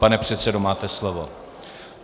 Pane předsedo, máte slovo.